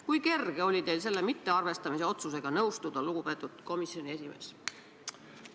Kui kerge oli teil selle mittearvestamise otsusega nõustuda, lugupeetud komisjoni esimees?